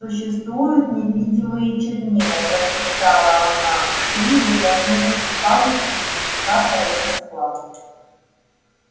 существуют невидимые чернила прошептала она и трижды коснувшись палочкой дневника произнесла